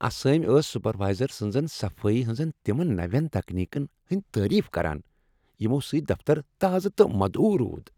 اسٲمۍ ٲس سپروایزر سٕنٛزن صفٲیی ہٕنٛزن تمن نوٮ۪ن تکنیکن ہٕندۍ تعٲریف کران یمو سٕتۍ دفتر تازٕ تہٕ مدعو روٗد ۔